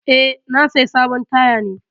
Eh, na saya sabon taya ne.